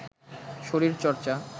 শরীর চর্চা